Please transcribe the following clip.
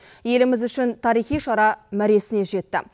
еліміз үшін тарихи шара мәресіне жетті